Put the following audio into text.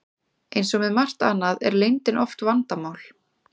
Eins og með margt annað er leyndin oft vandamál.